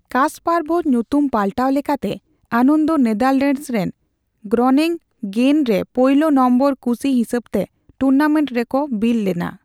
ᱠᱟᱥᱯᱟᱨᱵᱷᱮᱨ ᱧᱩᱛᱩᱢ ᱯᱟᱞᱴᱟᱣ ᱞᱮᱠᱟᱛᱮ, ᱟᱱᱚᱫᱚ ᱱᱮᱫᱟᱨᱞᱮᱸᱱᱰᱥ ᱨᱮᱱ ᱜᱨᱚᱱᱮᱝ ᱜᱮᱱ ᱨᱮ ᱯᱳᱭᱞᱳ ᱱᱚᱝ ᱠᱩᱥᱤ ᱦᱤᱥᱟᱹᱵᱛᱮ ᱴᱩᱨᱱᱟᱢᱮᱱᱴ ᱨᱮᱠᱚ ᱠᱚ ᱵᱤᱞᱚ ᱞᱮᱱᱟ ᱾